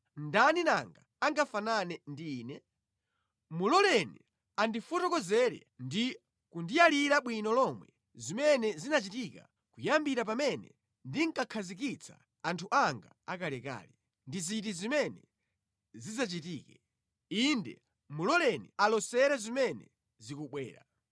Ndani nanga angafanane ndi Ine? Muloleni kuti ayankhule. Muloleni andifotokozere ndi kundiyalira bwino lomwe zimene zinachitika kuyambira pamene ndinkakhazikitsa anthu anga akalekale, ndi ziti zimene zidzachitike; inde, muloleni alosere zimene zikubwera.